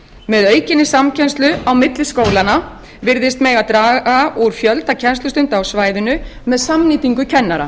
með aukinni samkennslu á milli skólanna virðist mega draga úr fjölda kennslustunda á svæðinu með samnýtingu kennara